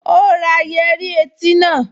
Ó ra yẹ́rí etí náà